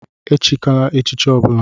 Echikwala echichi ọbula!